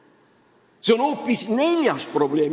Ja see on hoopis neljas probleem.